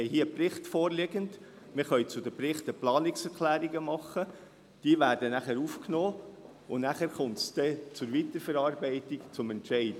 Wir haben hier einen Bericht vorliegend, wir können zu den Berichten Planungserklärungen machen, die aufgenommen werden, und nachher kommt es zur Weiterverarbeitung und zum Entscheid.